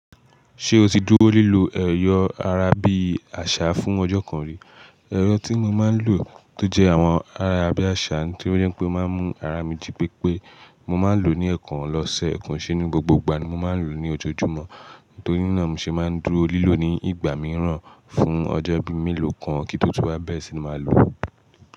Ṣé o ti dúró lílo ẹ̀yọ̀ ara bí àṣà fún ọjọ́ kan rí? Ẹ̀rọ̀ tí emi máa ń lò tó jẹ́ àwọn ayara bí àṣà nitoripé ó máa ń mú ara mi jí pépé. Mo máa ń lò ó ní ẹ̀ẹ̀kan lọ́sẹ̀, koi se ni gbogbo ìgbà ni mo máa ń lò ó ní ojoojúmọ́. Nítorí náà mo ṣe máa ń dúró lílò ní ìgbà mìíràn fún ọjọ́ bíi mélòó kan kí n tó tun wá bẹ́rẹ̀ ṣí ni màá lò ó.